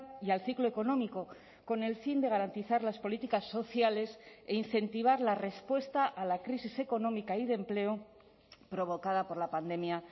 y al ciclo económico con el fin de garantizar las políticas sociales e incentivar la respuesta a la crisis económica y de empleo provocada por la pandemia